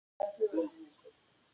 Þú stendur þig vel, Blær!